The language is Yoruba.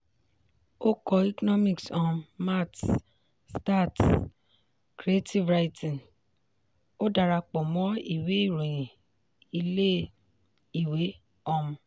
ó kó economics um maths stats creative writing; ó darapọ̀ mọ́ ìwé ìròyìn ilé-ìwé. um